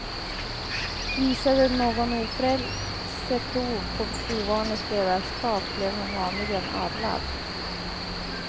Visade någon ofrälse prov på ovanligt ledarskap blev han vanligen adlad.